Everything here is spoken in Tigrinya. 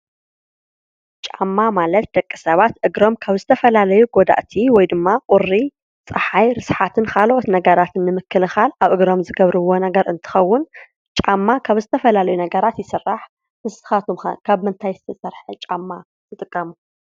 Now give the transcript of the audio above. ጫማ ማለት ደቂ ሰባት እግሮም ካብ ዝተፈላላዩ ጎዳእቲ ወይድማ ቈሪ፣ ፀሓይ፣ ርስሓትን ካልኦት ነገራት ንምክልካል ኣብ እግሮም ዝገብርዎ ነገር እንትኸዉን ጫማ ካብ ዝተፈላለዩ ነገራት ይስራሕ። ንስካትኩም ከ ካብ ምንታይ ዝተሰርሐ ጫማ ትጥቀሙ?